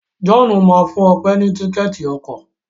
John má fún Òpe ní Tíkẹ́ẹ̀tì ọkọ̀.